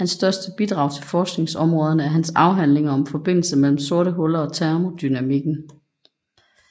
Hans største bidrag til forskningsområderne er hans afhandlinger om forbindelsen mellem sorte huller og termodynamikken